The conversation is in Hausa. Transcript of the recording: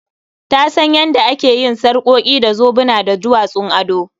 Ta san yanda ake yin sarƙoki da zobuna da duwatsun ado